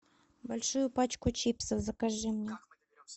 большую пачку чипсов закажи мне